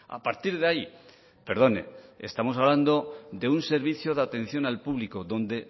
a partir de ahí perdone estamos hablando de un servicio de atención al público donde